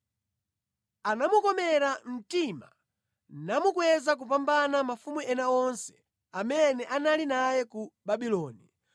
Anamukomera mtima namukweza kupambana mafumu ena onse amene anali naye ku Babuloni.